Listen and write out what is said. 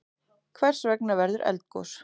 Hvers vegna verður eldgos?